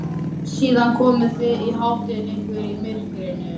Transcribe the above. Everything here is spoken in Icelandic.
Síðan komið þið og háttið ykkur í myrkrinu.